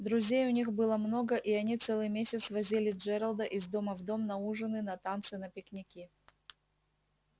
друзей у них было много и они целый месяц возили джералда из дома в дом на ужины на танцы на пикники